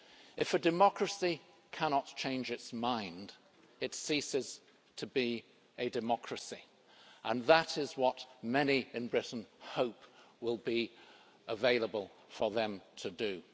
If a democracy cannot change its mind, it ceases to be a democracy', and that is what many in Britain hope will be available for them to do.